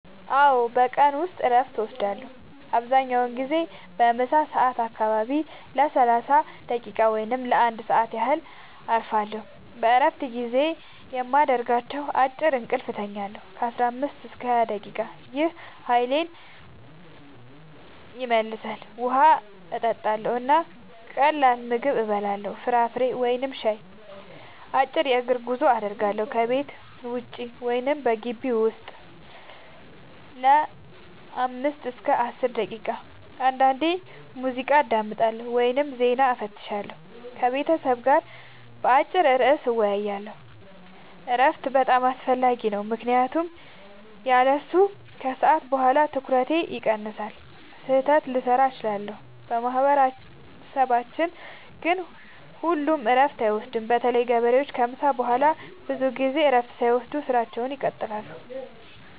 አዎ፣ በቀን ውስጥ እረፍት እወስዳለሁ። አብዛኛውን ጊዜ በምሳ ሰዓት አካባቢ ለ30 ደቂቃ ወይም ለ1 ሰዓት ያህል እረፋለሁ። በእረፍት ጊዜዬ የማደርጋቸው፦ · አጭር እንቅልፍ እተኛለሁ (15-20 ደቂቃ) – ይህ ኃይሌን ይመልሳል። · ውሃ እጠጣለሁ እና ቀላል ምግብ እበላለሁ (ፍራፍሬ ወይም ሻይ)። · አጭር የእግር ጉዞ አደርጋለሁ – ከቤት ውጭ ወይም በግቢው ውስጥ ለ5-10 ደቂቃ። · አንዳንዴ ሙዚቃ አዳምጣለሁ ወይም ዜና እፈትሻለሁ። · ከቤተሰብ ጋር በአጭር ርዕስ እወያያለሁ። እረፍት በጣም አስፈላጊ ነው ምክንያቱም ያለሱ ከሰዓት በኋላ ትኩረቴ ይቀንሳል፣ ስህተት ልሠራ እችላለሁ። በማህበረሰባችን ግን ሁሉም እረፍት አይወስዱም – በተለይ ገበሬዎች ከምሳ በኋላ ብዙ ጊዜ እረፍት ሳያደርጉ ሥራቸውን ይቀጥላሉ።